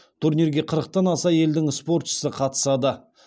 турнирге қырықтан аса елдің спортшысы қатысады